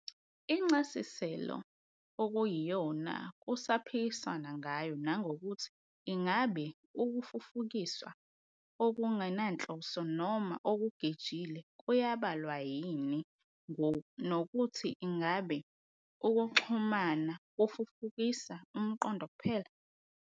Incasiselo okuyiyona kusaphikiswana ngayo nangokuthi ingabe ukufufukiswa okungenanhloso noma okugejile kuayabalwa yini nokuthi ingabe ukuxhumana kufufukisa umqondo kuphela